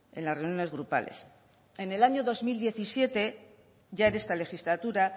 en las reuniones grupales en el año dos mil diecisiete ya en esta legislatura